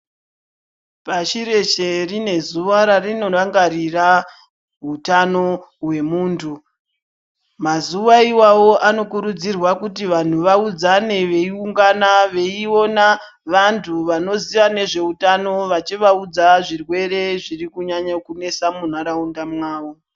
Pashi reshe rine zuwa rarinorangarira hutano hwemuntu. Mazuwa iwawo anokurudzirwa kuti vantu vaudzane veiungana veiona vantu vanoziya nezveutano vachivaudza zvirwere zviri kunyanyo kunesa muntaraunda mavo.